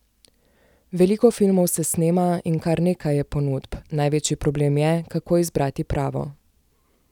Veliko filmov se snema in kar nekaj je ponudb, največji problem je, kako izbrati pravo.